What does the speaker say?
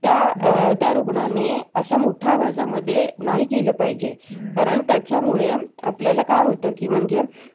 chance देणे अत्यंत आवशक्य आहे पहिला actor व्हावास वाटतंय काहींना electronic वस्तू आवडतात काहींना fashionshow आवडतो